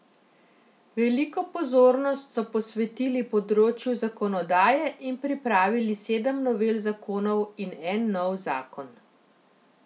Veliko pozornost so posvetili področju zakonodaje in pripravili sedem novel zakonov in en nov zakon.